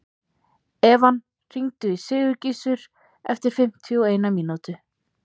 Evan, hringdu í Sigurgissur eftir fimmtíu og eina mínútur.